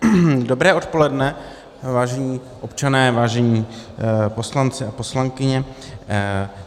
Dobré odpoledne, vážení občané, vážení poslanci a poslankyně.